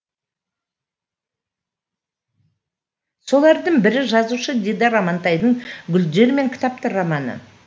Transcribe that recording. солардың бірі жазушы дидар амантайдың гүлдер мен кітаптар романы